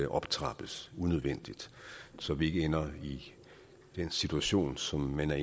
optrappes unødvendigt så vi ikke ender i den situation som man